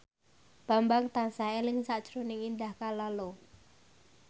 Bambang tansah eling sakjroning Indah Kalalo